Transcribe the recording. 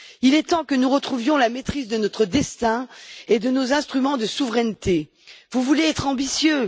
Il est temps que nous retrouvions la maîtrise de notre destin et de nos instruments de souveraineté. Vous voulez être ambitieux?